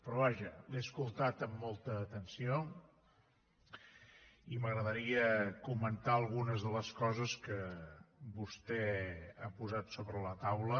però vaja l’he escoltat amb molta atenció i m’agradaria comentar algunes de les coses que vostè ha posat sobre la taula